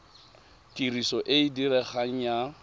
tiriso e e diregang ya